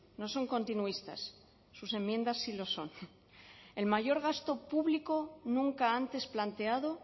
no son continuistas sus enmiendas sí lo son el mayor gasto público nunca antes planteado